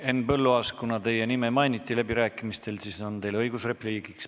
Henn Põlluaas, kuna teie nime mainiti läbirääkimistel, siis on teil õigus repliigiks.